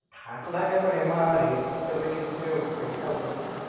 થાક લાગે પણ એમાં rate તમે કીધું કે પૈસા વધારે